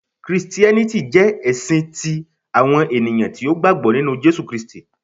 Kristiẹniti jẹ ẹsin ti awọn eniyan ti o gbagbọ ninu Jesu Kristi.